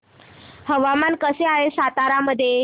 हवामान कसे आहे सातारा मध्ये